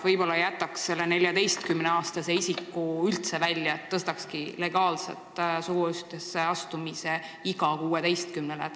Võib-olla jätaks selle 14-aastase isiku üldse välja ja lubaks legaalselt suguühtesse astuda alates 16 eluaastast?